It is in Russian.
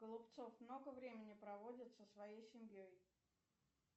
голубцов много времени проводит со своей семьей